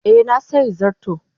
Eh, na sayi zarto.